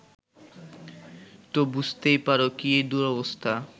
তো বুঝতেই পারো কী দুরবস্থা